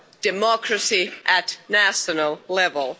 democracy at national level.